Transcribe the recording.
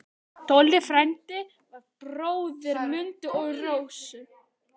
Tolli frændi var bróðir Mundu og Rósu.